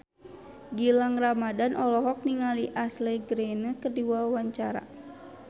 Gilang Ramadan olohok ningali Ashley Greene keur diwawancara